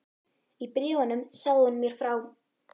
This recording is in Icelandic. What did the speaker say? Í bréfunum sagði hún mér frá